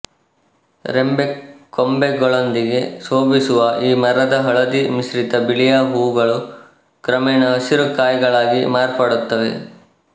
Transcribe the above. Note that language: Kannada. ರೆಂಬೆಕೊಂಬೆಗಳೊಂದಿಗೆ ಶೋಭಿಸುವ ಈ ಮರದ ಹಳದಿ ಮಿಶ್ರಿತ ಬಿಳಿಯ ಹೂವುಗಳು ಕ್ರಮೇಣ ಹಸಿರು ಕಾಯಿಗಳಾಗಿ ಮಾರ್ಪಡುತ್ತವೆ